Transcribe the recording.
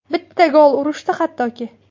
Bitta gol urishdi hattoki.